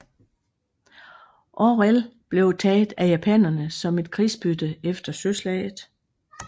Orel blev taget af japanerne som et krigsbytte efter søslaget